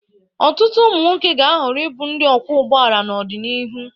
Ọtụtụ ụmụ nwoke ga-ahọrọ ịbụ ndị ọkwọ ụgbọala n'ọdịnihu.